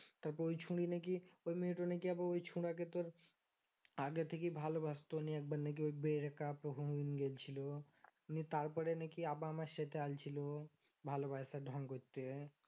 তারপরও ছুরি নাকি ওই মেয়েটা নাকি ওই ছোড়াকে তোর আগে থেকে ভালোবাসতো নিয়ে একবার নাকি ওই break up হয়েগেছিলো নিয়ে তারপরে নাকি আবার আমার সাথে আলোছিল ভালবাসার ঢং করতে